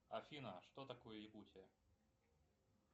афина что такое якутия